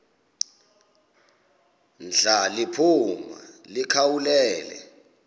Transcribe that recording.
ndla liphuma likhawulele